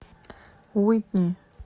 уитни